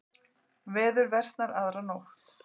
Veður versnar aðra nótt